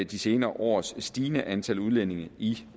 de senere års stigende antal udlændinge i